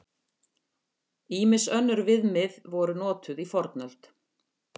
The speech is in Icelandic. Ýmis önnur viðmið voru notuð í fornöld.